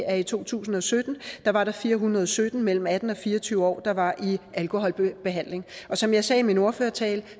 at i to tusind og sytten var der fire hundrede og sytten mellem atten og fire og tyve år der var i alkoholbehandling og som jeg sagde i min ordførertale